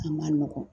A ma nɔgɔn